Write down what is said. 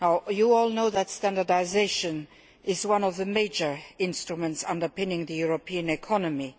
You all know that standardisation is one of the major instruments underpinning the European economy.